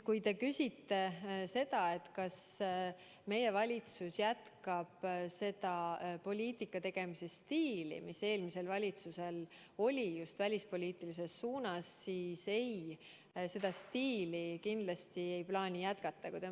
Kui te küsite seda, kas meie valitsus jätkab seda poliitika tegemise stiili, mis eelmisel valitsusel oli välispoliitikas, siis ei, seda stiili me kindlasti ei plaani jätkata.